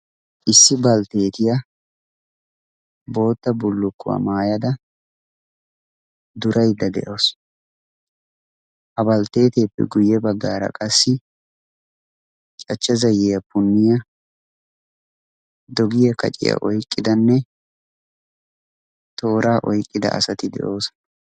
Issi baltteetiya bootta bullukkuwa maayada duraydda de'awusu. Ha baltteeteeppe guyye baggaara qassi cachcha zayiya punniya, dogiya kaciya oyqqidanne tooraa oyqqida asati de'oosona.